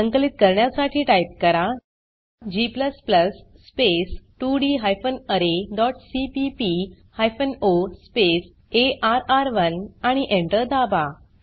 संकलित करण्यासाठी टाइप करा g स्पेस 2डी hyphen array dot CPP hyphen o space अर्र1 आणि Enter दाबा